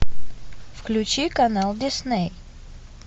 включи канал дисней